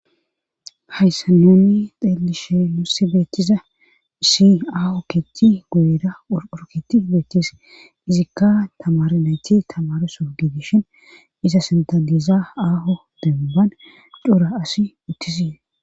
Hayssanonni xeelishe nusse beethiza si aaho keti guyera rurketi beethchis izikka tamar nayti tamareso gidishin iza sintadiza aaho debban cura asi uttis.